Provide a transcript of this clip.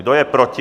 Kdo je proti?